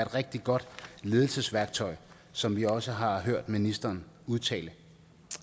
rigtig godt ledelsesværktøj som vi også har hørt ministeren udtale